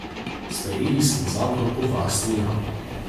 Sprejeli smo zakon o varstvu jam.